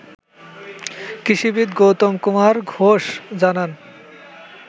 কৃষিবিদ গৌতম কুমার ঘোষ জানান